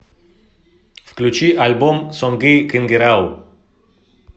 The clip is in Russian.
включи альбом сонгы кынгырау